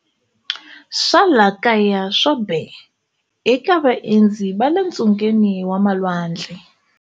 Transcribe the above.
Swa laha kaya swo be, eka vaendzi va le ntsungeni wa malwandle